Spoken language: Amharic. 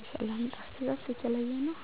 የሰላምታ አሰጣጡ የተለየ ነው።